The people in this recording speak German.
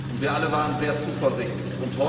und wir alle waren sehr zuversichtlich.